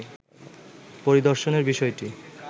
পরিদর্শনের বিষয়টি